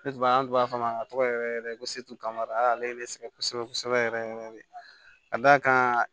Ne b'a an tun b'a f'a ma a tɔgɔ yɛrɛ yɛrɛ ko setu kama ale ye ne sɛgɛn kosɛbɛ kosɛbɛ yɛrɛ yɛrɛ de ka d'a kan